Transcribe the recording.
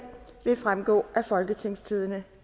vil fremgå af folketingstidende